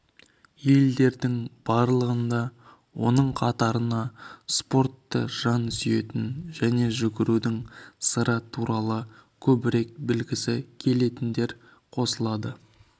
елдердің барлығында оның қатарына спортты жан сүйетін және жүгірудің сыры туралы көбірек білгісі келетіндер қосылады